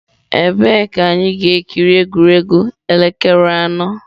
Ebee ka anyị ga-ekiri egwuregwu elekere anọ.